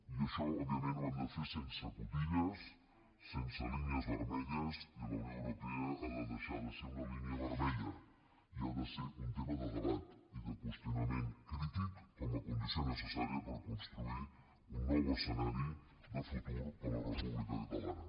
i això òbviament ho hem de fer sense cotilles sense línies vermelles la unió europea ha de deixar de ser una línia vermella i ha de ser un tema de debat i de qüestionament crític com a condició necessària per construir un nou escenari de futur per a la república catalana